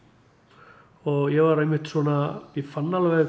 og ég var einmitt svona ég fann alveg